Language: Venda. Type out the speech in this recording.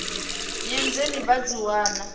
nnyi dzine vha dzi wana